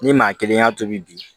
Ni maa kelen y'a tobi bi